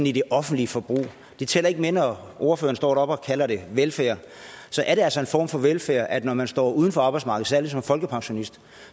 i det offentlige forbrug det tæller ikke med når ordføreren står deroppe og kalder det velfærd er det altså en form for velfærd at man har står uden for arbejdsmarkedet særlig som folkepensionist